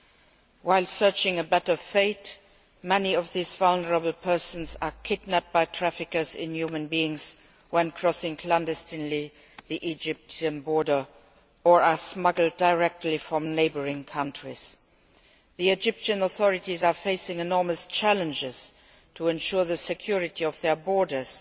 In seeking a better life, many of these vulnerable persons are kidnapped by traffickers in human beings when crossing clandestinely the Egyptian border or being smuggled directly from neighbouring countries. The Egyptian authorities are facing enormous challenges to ensure the security of their borders